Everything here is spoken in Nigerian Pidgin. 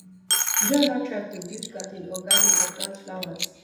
you don ever try to build garden or garden or plant flowers